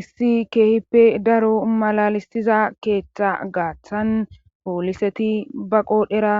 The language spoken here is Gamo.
issi keehippe daro malalisiza keeththa gaaththan pooliseti ba qoodhera